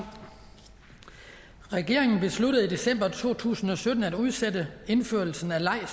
regeringen besluttede i december to tusind og sytten at udsætte indførelsen af